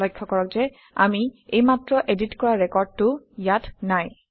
লক্ষ্য কৰক যে আমি এইমাত্ৰ এডিট কৰা ৰেকৰ্ডটো ইয়াত নাই